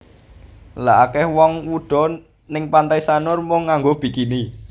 Lha akeh wong wudo ning Pantai Sanur mung nganggo bikini